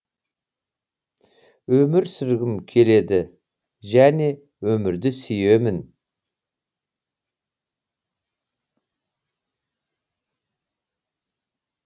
өмір сүргім келеді және өмірді сүйемін